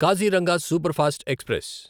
Kaziranga superfast express